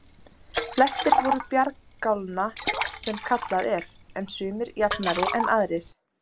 Flestir voru bjargálna sem kallað er, en sumir jafnari en aðrir.